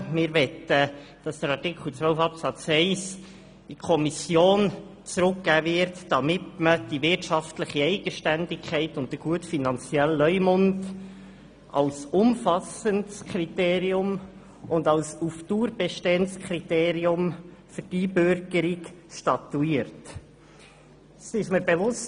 Wir möchten, dass Artikel 12 Absatz 1 in die Kommission zurückgegeben wird, damit die wirtschaftliche Eigenständigkeit und der gute finanzielle Leumund als umfassendes und auf Dauer bestehendes Kriterium für die Einbürgerung statuiert wird.